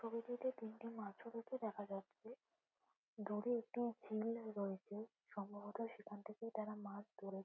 থেকে তিনটি মাছমুখী দেখা যাচ্ছে দূরে একটি ঝিল রয়েছে সম্ভবত সেখান থেকেই তারা মাছ ধরেছে ।